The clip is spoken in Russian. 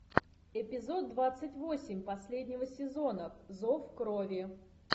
эпизод двадцать восемь последнего сезона зов крови